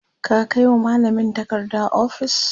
ka Kai wa mallamin takarda ofis?